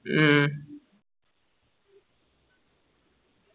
ഉം